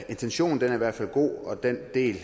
intentionen er i hvert fald god og den del